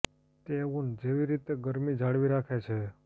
તે ઉન જેવી રીતે ગરમી જાળવી રાખે છે